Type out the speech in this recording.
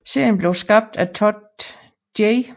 Serien blev skabt af Todd J